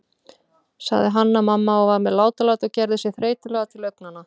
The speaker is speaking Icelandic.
sagði Hanna-Mamma og var með látalæti og gerði sig þreytulega til augnanna.